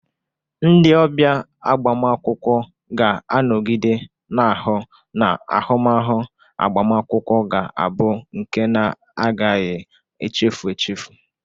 Ndị ọbịa agbamakwụkwọ ga-anọgide na-ahụ na ahụmahụ agbamakwụkwọ ga abu nke na-agaghi echefu echefu.